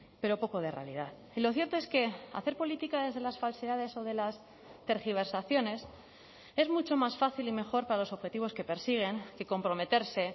pero poco de realidad y lo cierto es que hacer política desde las falsedades o de las tergiversaciones es mucho más fácil y mejor para los objetivos que persiguen que comprometerse